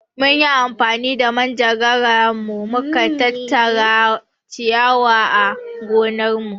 Mun yi amfani da manjagara mu ka tattara ciyawa a gonarmu.